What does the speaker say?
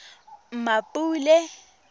mmapule